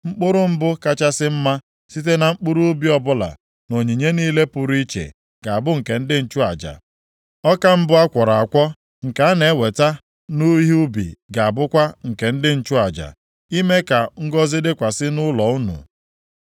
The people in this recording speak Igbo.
Mkpụrụ mbụ kachasị mma site na mkpụrụ ubi ọbụla na onyinye niile pụrụ iche ga-abụ nke ndị nchụaja. Ọka mbụ a kwọrọ akwọ, nke a na-eweta nʼihe ubi ga-abụkwa nke ndị nchụaja, ime ka ngọzị dịkwasị nʼụlọ unu.